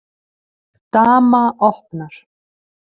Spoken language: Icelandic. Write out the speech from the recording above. Dama opnar.